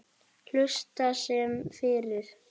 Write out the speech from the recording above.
Helst sem fyrst.